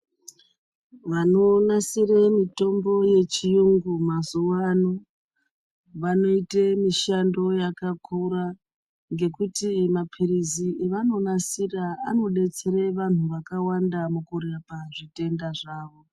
Vanonasire mutombo yechiyungu mazuwa ano vanoite mushando wakakura ngekuti mapirizi avanonasira anodetsere vanhu vakawanda mukurapa zvitenda zvawo.